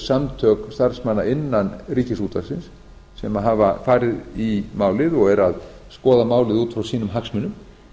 samtök starfsmanna innan ríkisútvarpsins sem hafa farið í málið og eru að skoða málið út frá sínum hagsmunum